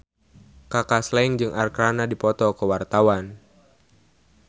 Kaka Slank jeung Arkarna keur dipoto ku wartawan